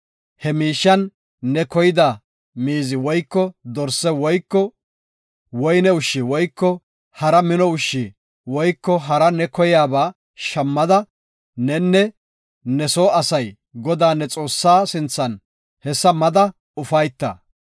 He miishiyan ne koyida miizi woyko dorse woyko woyne ushshi woyko hara mino ushshi woyko hara ne koyiyaba shammada, nenne ne soo asay Godaa, ne Xoossaa sinthan hessa mada ufayta.